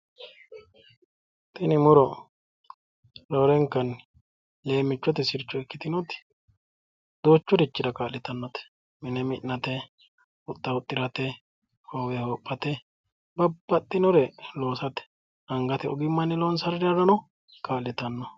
tini muro roorenkanni leemmichote sircho ikkitinoti duuchurichira ka'litannote: mine mi'nate, huxxa huxxirate, hoowe hoophate, babbaxxinore loosate angate ogimmanni loonsanirirano kaa'litannote.